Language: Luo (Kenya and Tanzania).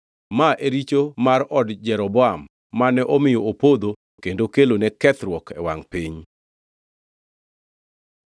Ma e richo mar od Jeroboam mane omiyo opodho kendo kelone kethruok e wangʼ piny.